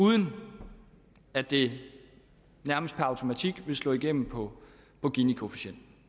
uden at det nærmest per automatik ville slå igennem på ginikoefficienten